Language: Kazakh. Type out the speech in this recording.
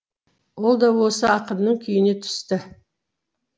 ол да осы ақынның күйіне түсті